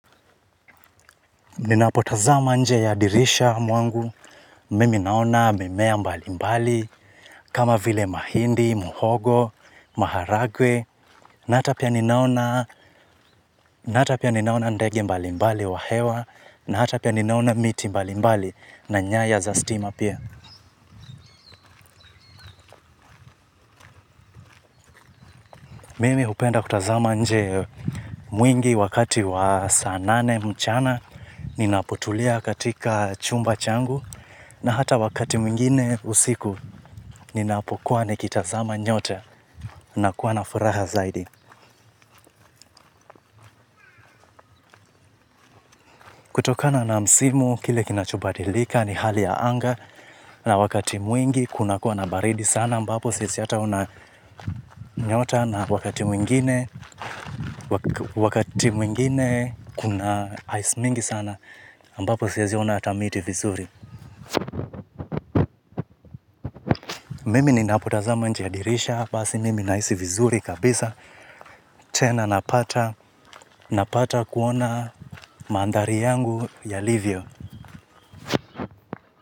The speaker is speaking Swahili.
Ninapotazama nje ya dirisha mwangu, mimi naona mimea mbalimbali kama vile mahindi, muhogo, maharagwe, na hata pia ninaona, na hata pia ninaona ndege mbalimbali wa hewa, na hata pia ninaona miti mbalimbali na nyaya za stima pia. Mimi hupenda kutazama nje mwingi wakati wa saa nane mchana ninapotulia katika chumba changu, na hata wakati mwingine usiku ninapokuwa nikitazama nyota, nakuwa na furaha zaidi. Kutokana na msimu, kile kinachobadilika ni hali ya anga na wakati mwingi kunakuwa na baridi sana ambapo siwezi hata ona nyota na wakati mwingine, wakati mwingine kuna ice mingi sana ambapo siwezi ona hata miti vizuri. Mimi ninapotazama nje ya dirisha, basi mimi nahisi vizuri kabisa, tena napata, napata kuona mandhari yangu yalivyo.